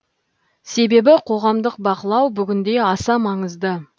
себебі қоғамдық бақылау бүгінде аса маңызды